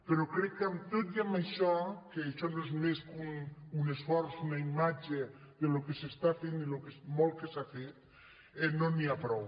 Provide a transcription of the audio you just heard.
però crec que tot i amb això que això no és més que un esforç una imatge del que s’està fent i del molt que s’ha fet no n’hi ha prou